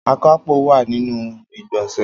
Akápò wa ninu igbonse.